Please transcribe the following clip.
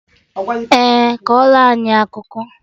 Ee, kọrọ anyị akụkọ